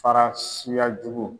Fara suya jugu.